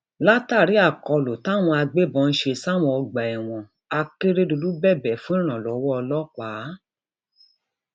látàrí àkọlù táwọn agbébọn ń ṣe sáwọn ọgbà ẹwọn akérédọlù bẹbẹ fún ìrànlọwọ ọlọpàá